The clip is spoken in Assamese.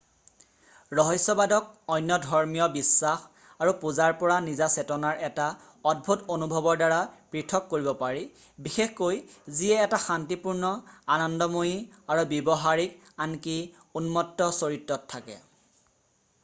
ৰহস্যবাদক অন্য ধৰ্মীয় বিশ্বাস আৰু পূজাৰ পৰা নিজা চেতনাৰ এটা অদ্ভুত অনুভৱৰ দ্বাৰা, পৃথক কৰিব পাৰি বিশেষকৈ যিয়ে এটা শান্তিপূৰ্ণ আনন্দময়ী আৰু ব্যৱহাৰিক আনকি উন্মত্ত চৰিত্ৰত থাকে।